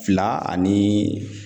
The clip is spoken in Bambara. Fila ani